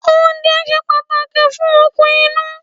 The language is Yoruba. Oúnjẹ ṣe pàtàkì fún okun inú.